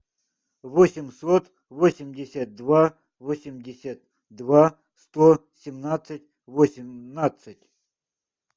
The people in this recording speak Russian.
восемьсот восемьдесят два восемьдесят два сто семнадцать восемнадцать